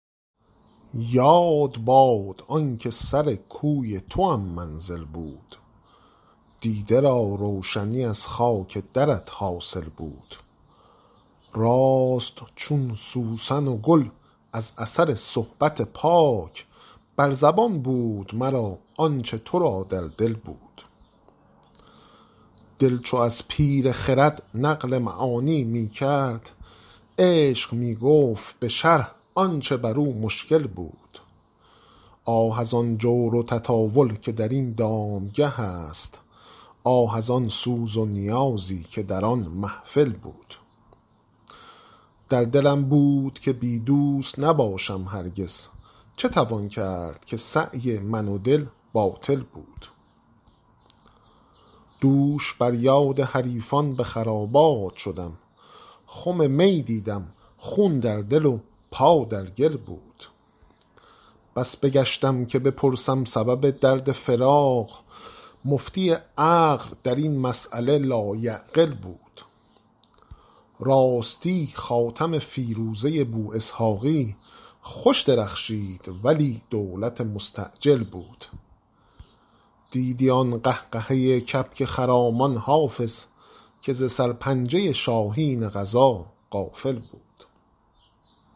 یاد باد آن که سر کوی توام منزل بود دیده را روشنی از خاک درت حاصل بود راست چون سوسن و گل از اثر صحبت پاک بر زبان بود مرا آن چه تو را در دل بود دل چو از پیر خرد نقل معانی می کرد عشق می گفت به شرح آن چه بر او مشکل بود آه از آن جور و تطاول که در این دامگه است آه از آن سوز و نیازی که در آن محفل بود در دلم بود که بی دوست نباشم هرگز چه توان کرد که سعی من و دل باطل بود دوش بر یاد حریفان به خرابات شدم خم می دیدم خون در دل و پا در گل بود بس بگشتم که بپرسم سبب درد فراق مفتی عقل در این مسأله لایعقل بود راستی خاتم فیروزه بواسحاقی خوش درخشید ولی دولت مستعجل بود دیدی آن قهقهه کبک خرامان حافظ که ز سرپنجه شاهین قضا غافل بود